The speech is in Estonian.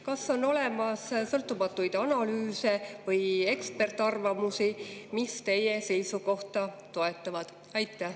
Kas on olemas sõltumatuid analüüse või ekspertarvamusi, mis teie seisukohta toetavad?